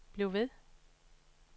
bliv ved